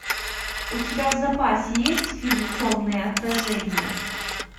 у тебя в запасе есть фильм темные отражения